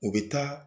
U bɛ taa